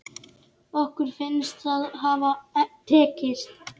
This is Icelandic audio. Okkur finnst það hafa tekist.